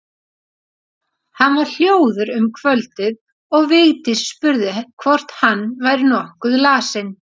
Hann var hljóður um kvöldið og Vigdís spurði hvort hann væri nokkuð lasinn.